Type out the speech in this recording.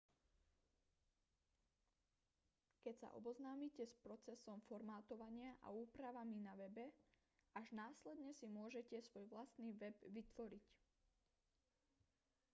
keď sa oboznámite s procesom formátovania a úpravami na webe až následne si môžete svoj vlastný web vytvoriť